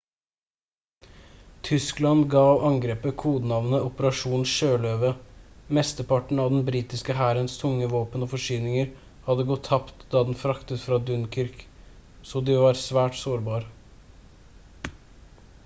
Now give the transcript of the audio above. tyskland gav angrepet kodenavnet «operasjon sjøløve». mesteparten av den britiske hærens tunge våpen og forsyninger hadde gått tapt da den flyktet fra dunkirk så de var svært sårbar